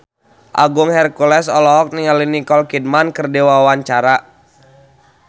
Agung Hercules olohok ningali Nicole Kidman keur diwawancara